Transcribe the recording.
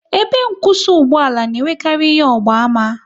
Ebe nkwụsị ugboala na enwekarị ihe ọgba ama